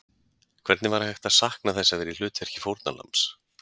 Hvernig var hægt að sakna þess að vera í hlutverki fórnarlambs?